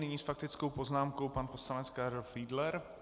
Nyní s faktickou poznámkou pan poslanec Karel Fiedler.